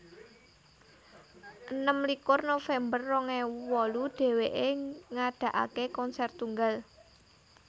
enem likur november rong ewu wolu dheweké ngadakaké konser tunggal